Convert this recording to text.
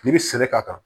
N'i bɛ sɛnɛ k'a kan